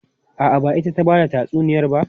A'a, ba ita ta ba da tatsuniyar ba.